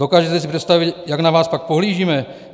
Dokážete si představit, jak na vás pak pohlížíme?